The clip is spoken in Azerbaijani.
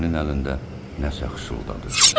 Əminənin əlində nəsə xışıldadı.